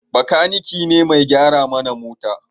Makaniki ne mai gyara mana mota